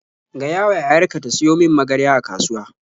Gayawa yayar ka ta siyo min magarya a kasuwa.